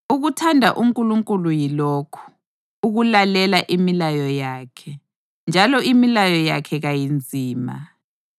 Ukuthanda uNkulunkulu yilokhu: ukulalela imilayo yakhe. Njalo imilayo yakhe kayinzima,